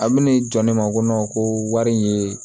A bɛna jɔ ne ma ko ko wari in ye